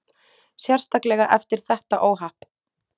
Sérstaklega eftir þetta óhapp.